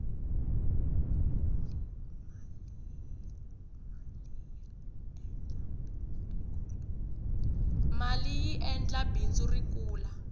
maliyi endla bindzu ri kula